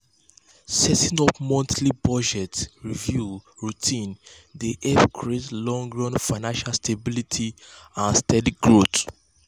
setting up monthly budget review routine dey help create long-run financial stability and steady growth.